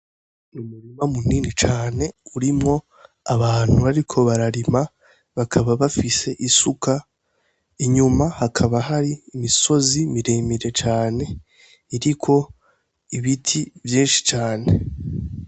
Umurima munini cane urimwo abantu bariko bararima, bakaba bafise isuka, inyuma hakaba hari imisozi miremire cane iriko ibiti vyinshi cane.